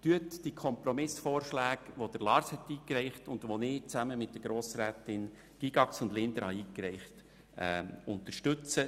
Unterstützen Sie die von Lars Guggisberg eingebrachten Kompromissvorschläge sowie jene, welche ich zusammen mit den Grossrätinnen Gygax und Linder eingereicht habe.